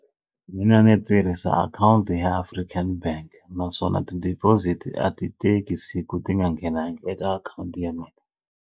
Mina ndzi tirhisa akhawunti ya African bank naswona ti-deposit a ti teki siku ti nga nghenangi eka akhawunti ya mina.